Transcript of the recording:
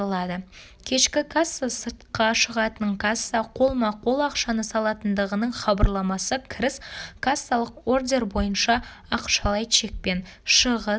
кешкі касса сыртқа шығатын касса қолма-қол ақшаны салатындығының хабарламасы кіріс кассалық ордер бойынша ақшалай чекпен шығыс